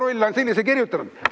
Ivo Rull on sellise raamatu kirjutanud.